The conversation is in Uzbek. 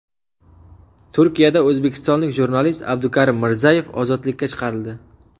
Turkiyada o‘zbekistonlik jurnalist Abdukarim Mirzayev ozodlikka chiqarildi.